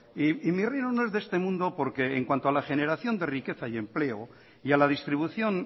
y mi reino no es de este mundo porque en cuanto a la generación de riqueza y empleo y a la distribución